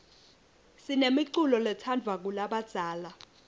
sinemiculo letsandvwa ngulabadzala